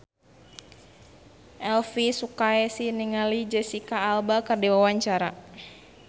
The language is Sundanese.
Elvy Sukaesih olohok ningali Jesicca Alba keur diwawancara